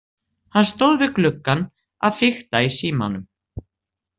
Hann stóð við gluggann að fikta í símanum.